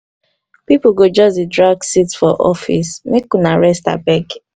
pipo go just dey drag seat for office make una rest abeg.